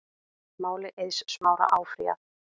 Máli Eiðs Smára áfrýjað